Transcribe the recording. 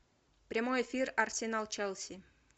прямой эфир арсенал челси